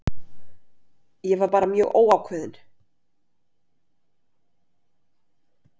Ég var bara mjög óákveðinn.